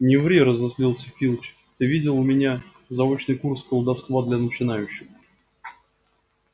не ври разозлился филч ты видел у меня заочный курс колдовства для начинающих